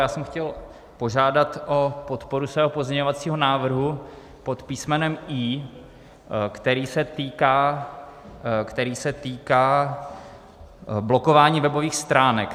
Já jsem chtěl požádat o podporu svého pozměňovacího návrhu pod písmenem I, který se týká blokování webových stránek.